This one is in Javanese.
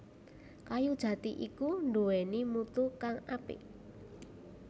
Kayu jati iku nduwèni mutu kang apik